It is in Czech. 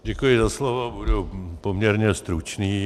Děkuji za slovo, budu poměrně stručný.